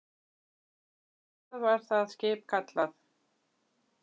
Hvað var það skip kallað?